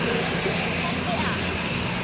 Pabbi að.